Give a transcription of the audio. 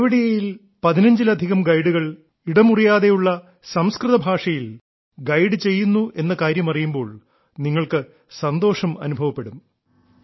കേവഡിയയിൽ പതിനഞ്ചിലധികം ഗൈഡുകൾ ഇട മുറിയാതെയുള്ള സംസ്കൃത ഭാഷയിൽ ഗൈഡ് ചെയ്യുന്നു എന്ന കാര്യം അറിയുമ്പോൾ നിങ്ങൾക്ക് സന്തോഷം അനുഭവപ്പെടും